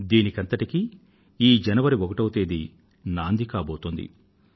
దీనంతటికీ ఈ జనవరి ఒకటో తేదీ నాంది కాబోతోంది